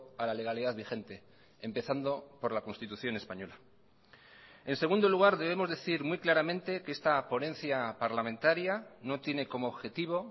a la legalidad vigente empezando por la constitución española en segundo lugar debemos decir muy claramente que esta ponencia parlamentaria no tiene como objetivo